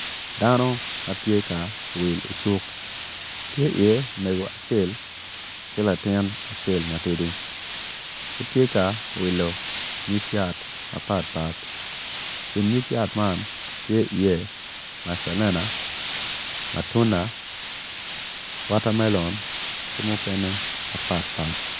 Dano ma tye ka wil I cuk tye iye mego acel ki latin acel matidi gitye ka wilo nyig yat mapat pat I kin nyig yat man tye iye macalena mutuna watermelon ki mukene mapat pat.